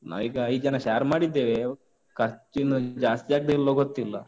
ನಾವೀಗ ಐದ್ ಜನ share ಮಾಡಿದ್ದೇವೆ. ಖರ್ಚಿನ್ನು ಜಾಸ್ತಿ ಆಗ್ತದ, ಇಲ್ವ ಗೊತ್ತಿಲ್ಲ.